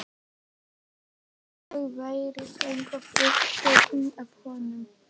Eins og ég væri eitthvað upptekin af honum.